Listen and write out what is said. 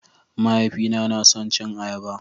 Mahaifina na son cin ayaba